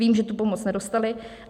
Vím, že tu pomoc nedostali.